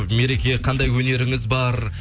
мереке қандай өнеріңіз бар